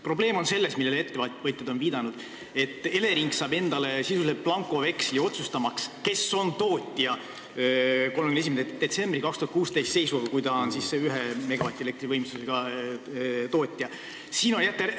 Probleem, millele ettevõtjad on viidanud, on selles, et Elering saab endale sisuliselt blankoveksli otsustamaks, kes kuni 1 megavati võimsusega jaamade omanikest oli tootja 31. detsembri 2016 seisuga.